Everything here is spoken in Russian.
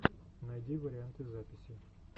найди варианты записей